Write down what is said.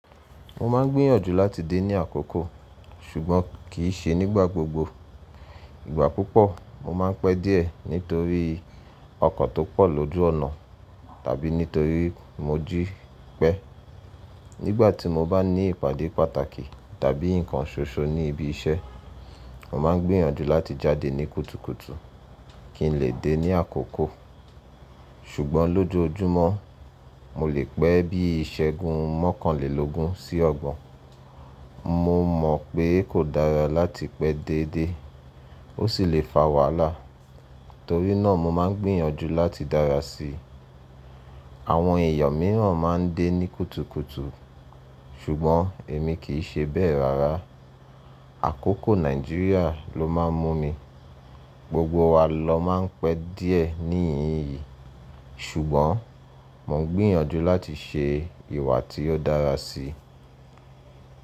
Mo máa ń gbìyànjú láti dé ní àkókò, ṣùgbọ́n kì í ṣe nígbà gbogbo. Ìgbà púpọ̀ mo máa ń pẹ́ díẹ̀ nítorí ọkọ̀ tó pọ̀ lójú ọ̀nà tàbí nítorí mo jí pẹ́. Nígbà tí mo bá ní ìpàdé pàtàkì tàbí nǹkan ṣoṣo ní ibi iṣẹ́, mo máa ń gbìyànjú láti jáde ní kùtùkùtù kí n lè dé ní àkókò. Ṣùgbọ́n lójúmọ́, mo lè pẹ́ bí ìṣẹ́gun mọ́kànlélógún sí ọgbọ̀n. Mo mọ̀ pé kò dára láti pẹ́ déédé, ó sì lè fa wàhálà. Torí náà mo máa ń gbìyànjú láti dára sí i. Àwọn èèyàn mìíràn máa ń dé ní kùtùkùtù, ṣùgbọ́n èmi kì í ṣe bẹ́ẹ̀ rárá. Àkókò Nàìjíríà ló máa ń mú mi. Gbogbo wa lọ máa ń pẹ́ díẹ̀ ní ìyín yìí, ṣùgbọ́n mo ń gbìyànjú láti ṣe ìwà tí ó dára sí i.